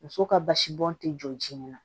Muso ka basi bɔn ti jɔ sin na